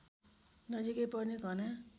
नजिकै पर्ने घना